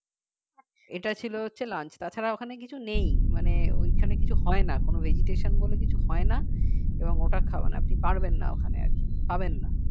এটা ছিলো হচ্ছে lunch তা ছাড়া ওখানে কিছু নেই মানে ঐখানে কিছু হয় না কোন vegetation বলে কিছু হয় না এবং ওটা আপনি পারবেন না ওখানে আর কী পাবেন না